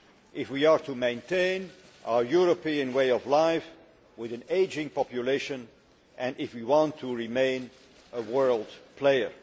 if we are to maintain our European way of life with an ageing population and if we want to remain a world player.